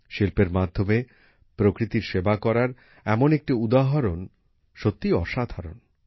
শিল্পের মাধ্যমে প্রকৃতির সেবা করার এমন একটি উদাহরণ সত্যিই অসাধারণ